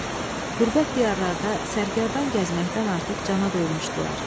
Qürbət diyarlarda sərgərdan gəzməkdən artıq cana doymuşdular.